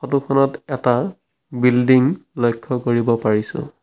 ফটোখনত এটা বিল্ডিং লক্ষ্য কৰিব পাৰিছোঁ।